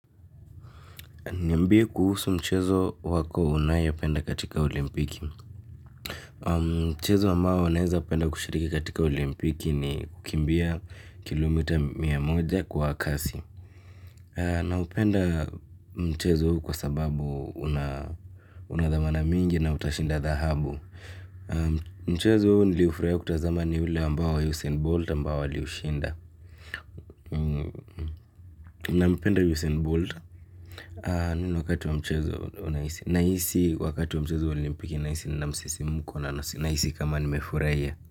Niambie kuhusu mchezo wako unayependa katika olimpiki. Mchezo ambao naeza kupenda kushiriki katika olimpiki ni kukimbia kilomita mia moja kwa kasi. Naupenda mchezo huu kwa sababu unadhamana mingi na utashinda dhahabu. Mchezo huu niliufurahia kuutazama ni ule ambao usain bolta ambao aliushinda. Naupenda yusin bolt. Nino wakati wa mchazo unahisi. Nahisi wakati wa mchezo olimpiki nahisi na msisi mkona. Nahisi kama nimefurahia.